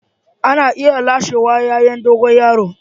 Ana iya lasewa yayan dogon yaro.